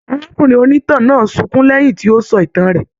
Arákùnrin onítàn náà sunkún lẹyìn tí o sọ ìtàn rẹ.